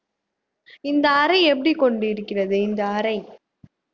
இந்த அறை எப்படி கொண்டிருக்கிறது இந்த அறை